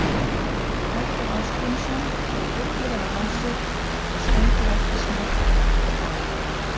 Halldór Ásgrímsson hljóp illilega á sig og stendur eftir sneyptur.